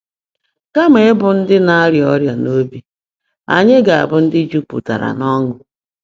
Kama ịbụ ndị ‘na-arịa ọrịa n’obi’ anyị ga-abụ ndị jupụtara n’ọṅụ.